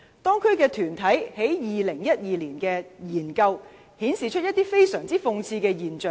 當區團體在2012年的研究，顯示一些非常諷刺的現象。